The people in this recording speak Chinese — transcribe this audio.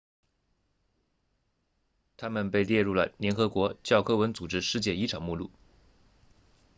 它们被列入了联合国教科文组织世界遗产名录